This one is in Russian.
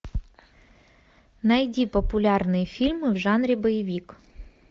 найди популярные фильмы в жанре боевик